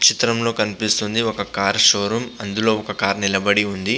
ఈ చిత్రం లో కనిపిస్తుంది ఒక కార్ షోరూం అందులో ఒక కార్ నిలపడి ఉంది--